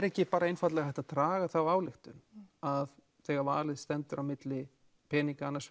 ekki einfaldlega hægt að draga þá ályktun að þegar valið standi á milli peninga